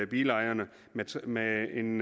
bilejerne med en